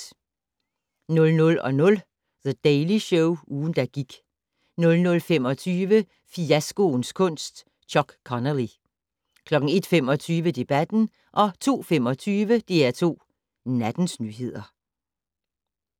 00:00: The Daily Show - ugen, der gik 00:25: Fiaskoens kunst - Chuck Connelly 01:25: Debatten 02:25: DR2 Nattens nyheder